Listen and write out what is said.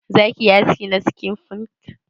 Za ki yi haski na skin punk?